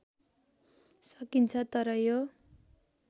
सकिन्छ तर यो